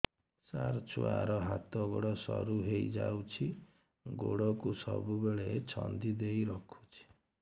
ସାର ଛୁଆର ହାତ ଗୋଡ ସରୁ ହେଇ ଯାଉଛି ଗୋଡ କୁ ସବୁବେଳେ ଛନ୍ଦିଦେଇ ରଖୁଛି